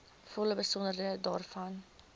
volle besonderhede daarvan